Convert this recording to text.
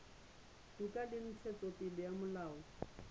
toka le ntshetsopele ya molao